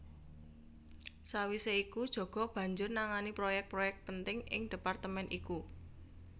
Sawisé iku Djoko banjur nangani proyek proyek penting ing departemen iku